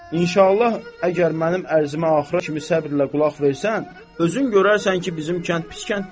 İnşallah əgər mənim ərzimə axıra kimi səbirlə qulaq versən, özün görərsən ki, bizim kənd pis kənd deyil.